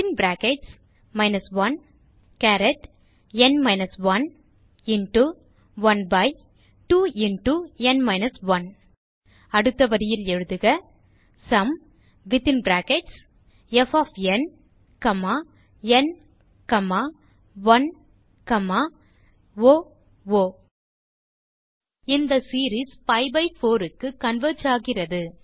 ப் 12ந் 1 அடுத்த வரியில் எழுதுக sumப் ந் 1 ஓ இந்த சீரீஸ் பி பை 4 க்கு கன்வெர்ஜ் ஆகிறது